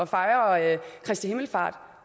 fejrer i øvrigt kristi himmelfartsdag